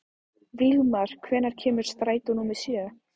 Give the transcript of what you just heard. Vígmar, hvenær kemur strætó númer sjö?